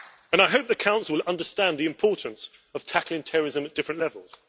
I hope the Council will understand the importance of tackling terrorism at different levels.